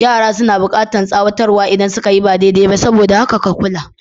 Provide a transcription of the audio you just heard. Yara suna bukatar tsawatar wa idan suka yi ba daidai ba, saboda haka ka kula.